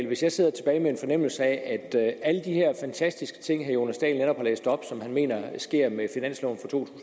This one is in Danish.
hvis jeg sidder tilbage med en fornemmelse af at alle de her fantastiske ting herre jonas dahl netop har læst op og som han mener sker med finansloven for to